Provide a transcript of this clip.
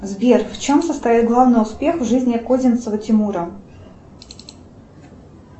сбер в чем состоит главный успех в жизни козинцева тимура